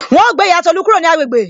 Wọn ó gbé ìyá Tolu kúrò ní agbègbè